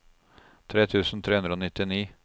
tre tusen tre hundre og nittini